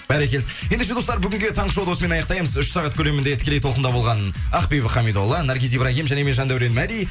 бәрекелді ендеше достар бүгінге таңғы шоуды осымен аяқтаймыз үш сағат көлемінде тікелей толқында болған ақбибі хамидолла наргиз ибрагим және мен жандәурен мәди